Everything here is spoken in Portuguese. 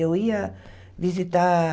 Eu ia visitar